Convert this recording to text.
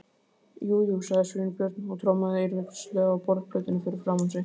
Jú, jú- sagði Sveinbjörn og trommaði eirðarleysislega á borðplötuna fyrir framan sig.